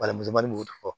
Balanmutanni b'o fɔ